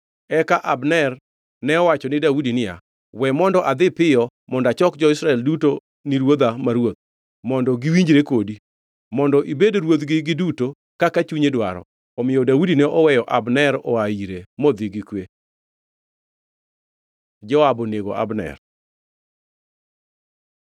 Eka Abner ne owacho ni Daudi niya, “We mondo adhi piyo mondo achok jo-Israel duto ni ruodha ma ruoth, mondo giwinjre kodi, mondo ibed ruodhgi giduto kaka chunyi dwaro.” Omiyo Daudi ne oweyo Abner oa ire modhi gi kwe. Joab onego Abner